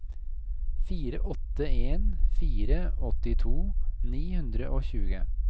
fire åtte en fire åttito ni hundre og tjue